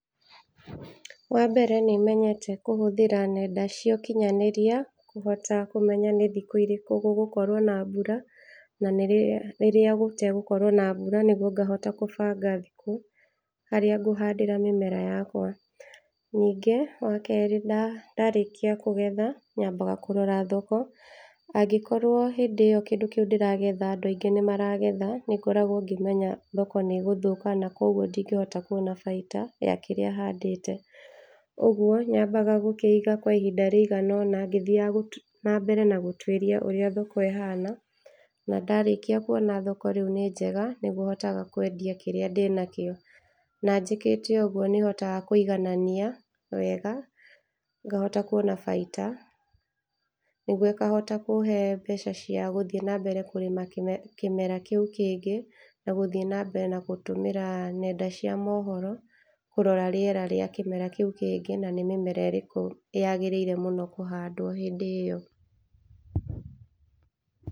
Wa mbere nĩmenyete kũhũthĩra nenda cĩa ũkinyanĩria kũhota kũmenya nĩ thikũ irĩkũ gũgũkorwo na mbura, na rĩrĩa gũtegũkorwo na mbura, nĩguo ngahota kũbanga thikũ harĩa ngũhandĩra mĩmera yakwa, ningĩ wa kerĩ, ndarĩkia kũgetha, nyambaga kũrora thoko, angĩkorwo hĩndĩ ĩyo kĩndũ kĩu ndĩragetha andũ aingĩ nĩ maragetha nĩ ngoragwo ngĩmenya thoko nĩ ĩgũthũka, na koguo ndingĩhota kuona baita ya kĩrĩa handĩte, ũguo nyambaga gũkĩiga kwa ihinda rĩiganona ngĩthiaga na mbere na gũtwiria ũrĩa thoko ĩhana, na ndarĩkia kuona thoko rĩu nĩ njega, nĩguo hotaga kwendia kĩrĩa ndĩnakĩo, na njĩkĩte ũguo nĩ hotaga kũiganania wega ngahota kuona baita, nĩguo ĩkahota kũhe mbeca cĩa gũthiĩ na mbere na kũrĩma kĩmera kĩu kĩngĩ, na gũthiĩ na mbere na gũtũmĩra nenda cĩa mohoro kũrora rĩera rĩa kĩmera kĩu kĩngĩ, na nĩ mĩmera ĩrĩkũ yagĩrĩire mũno kũhandwo hĩndĩ ĩyo.